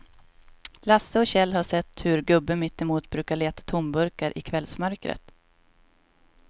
Lasse och Kjell har sett hur gubben mittemot brukar leta tomburkar i kvällsmörkret.